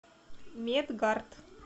медгард